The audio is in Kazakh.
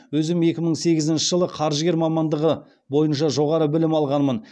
өзім екі мың сегізінші жылы қаржыгер мамандығы бойынша жоғары білім алғанмын